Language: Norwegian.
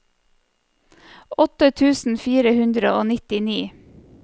åtte tusen fire hundre og nittini